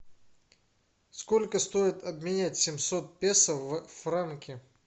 сколько стоит обменять семьсот песо в франки